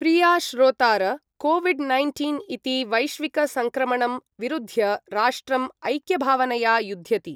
प्रिया श्रोतार, COVID nineteen इति वैश्विकसङ्क्रमणं विरुध्य राष्ट्रं ऐक्यभावनया युध्यति।